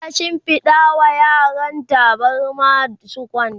ta shimfiɗa wa yaran tabarma su kwanta